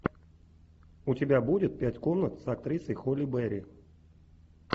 у тебя будет пять комнат с актрисой холли берри